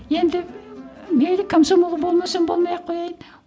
енді мейлі комсомол болмасам болмай ақ қояйын